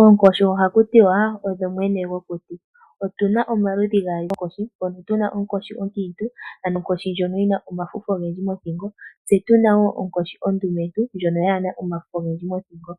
Oonkoshi ohaku tiwa odho mwene gwokuti. Otuna omaludhi gaali goonkoshi puna onkoshi onkiintu ndjono kaayina omafufu mothingo oshowo ondumentu ndjono yina omafufu mothingo.